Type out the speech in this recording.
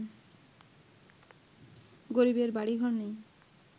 গরিবের বাড়ি ঘর নেই